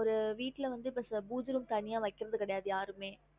ஒரு வீட்டுல வந்து இப்ப பூஜை room தனியா வைக்குறதே கிடையாது யாருமே